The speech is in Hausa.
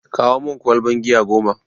Kawo mun ƙwalban giya goma!